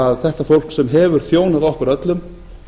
að þetta fólk sem hefur þjónað okkur öllum